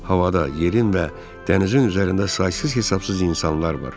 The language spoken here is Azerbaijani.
Havada, yerin və dənizin üzərində saysız-hesabsız insanlar var.